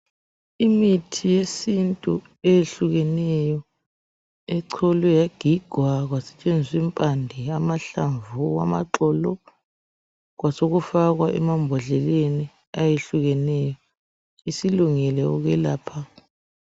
Imithi yesintu eyehlukeneyo, echolwe yagigwa. Kwasetshenziswa impande, amahlamvu, amaxolo. Kwasekufakwa emambodleleni ayehlukeneyo. Isilungele ukwelapha.